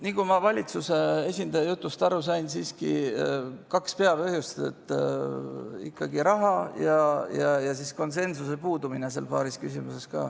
Nagu ma valitsuse esindaja jutust aru sain, siis oli kaks peapõhjust: ikkagi raha, ja ka konsensuse puudumine paaris küsimuses.